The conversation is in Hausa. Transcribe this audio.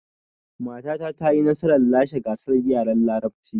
Matata ta yi nasarar lashe gasar yaren larabcin